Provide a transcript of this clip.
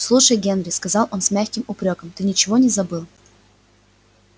слушай генри сказал он с мягким упрёком ты ничего не забыл